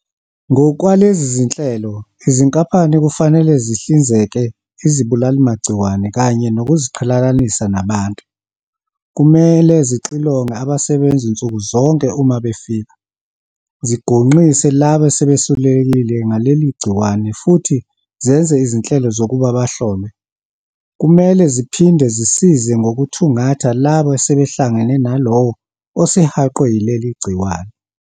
Ngokwalezi zinhlelo, izinkampani kufanele zihlinzeke izibulalimagciwane kanye nokuziqhelelanisa nabantu, kumele zixilonge abasebenzi nsuku zonke uma befika, zigonqise labo asebesulelekile ngaleli gciwane futhi zenze izinhlelo zokuba bahlolwe. "Kumele ziphinde zisize ngokuthungatha labo asebehlangane nalowo osehaqwe yileli gciwane."